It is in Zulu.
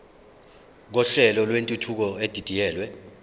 kohlelo lwentuthuko edidiyelwe